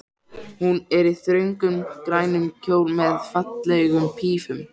Hún er í þröngum, grænum kjól með fallegum pífum.